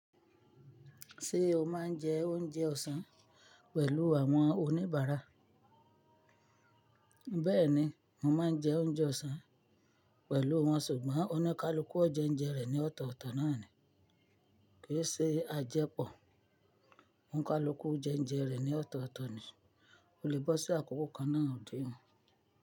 Ṣé o máa ń jẹ oúnjẹ ọ̀sán pẹ̀lú àwọn oníbàárà? Bẹ́ẹ̀ni, mo máa ń jẹ oúnjẹ ọ̀sán pẹ̀lú wọn ṣùgbọ́n ó ní ká lọ kú ọ̀jẹ̀ ń jẹ rẹ̀ ní ọ̀tọ̀ọ̀tọ̀ náà ni. Kìí ṣe a jẹ pọ̀. Ó ń ká lu kú jẹ ń jẹ rẹ̀ ní ọ̀tọ̀ọ̀tọ̀ ni. O lè bọ́ sí àkókò kan náà ó dé.